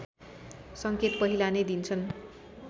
संकेत पहिला नै दिन्छन्